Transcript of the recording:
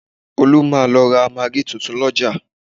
Olú máa lọ ra magí tuntun lọ́jà